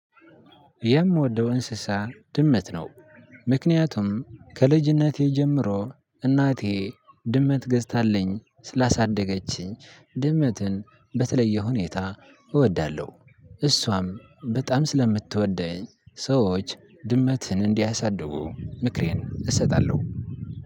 የምወደው እንስሳ ድመት ነው። ምክንያቱም ከልጅነቴ ጀምሮ እናቴ ድመት ገዝታለኝ ስላሳደገችኝ ድመትን በተለየ ሁኔታ እወዳለሁ። እሷም በጣም ስለምትወደኝ ሰዎች ድመትን እንዲያሳድጉ ምክሬን እሰጣለሁ።